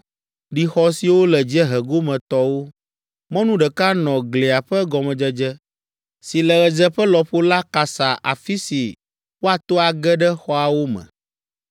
ɖi xɔ siwo le dziehe gome tɔwo. Mɔnu ɖeka nɔ glia ƒe gɔmedzedze, si le ɣedzeƒe lɔƒo la kasa afi si woato age ɖe xɔawo me.